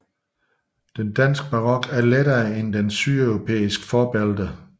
Den danske barok er lettere end dens sydeuropæiske forbilleder